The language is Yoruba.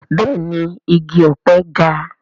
Bẹ́ẹ̀ni igi ọ̀pẹ ga